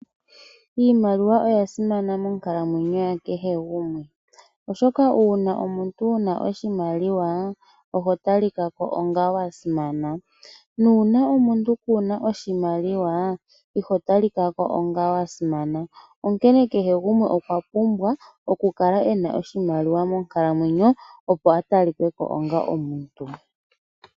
Iimaliwa oya simana monkalamwenyo yakehe gumwe, oshoka uuna omuntu wuna oshimaliwa oho talika ko onga wasimana, nuuna omuntu kuna oshimaliwa iho talika ko onga wasimana. Onkene kehe gumwe okwa pumbwa oku kala ena oshimaliwa monkalamwenyo opo atalike ko onga omuntu.